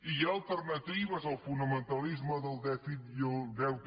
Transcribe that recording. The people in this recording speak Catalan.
hi ha alternatives al fonamentalisme del dèficit i el deute